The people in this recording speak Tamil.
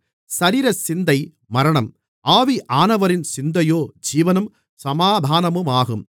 சரீரசிந்தை மரணம் ஆவியானவரின் சிந்தையோ ஜீவனும் சமாதானமுமாகும்